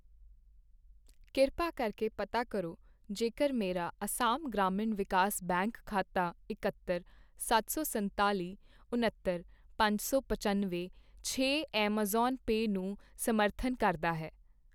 ਕਿਰਪਾ ਕਰਕੇ ਪਤਾ ਕਰੋ ਜੇਕਰ ਮੇਰਾ ਅਸਾਮ ਗ੍ਰਾਮੀਣ ਵਿਕਾਸ ਬੈਂਕ ਖਾਤਾ ਇਕੱਤਰ, ਸੱਤ ਸੋ ਸੰਤਾਲੀ, ਉੱਣਤਰ, ਪੰਜ ਸੌ ਪੰਚਨਵੇਂ, ਛੇ ਐੱਮਾਜ਼ਾਨ ਪੇ ਨੂੰ ਸਮਰਥਨ ਕਰਦਾ ਹੈ?